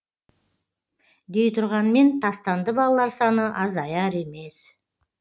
дей тұрғанмен тастанды балалар саны азаяр емес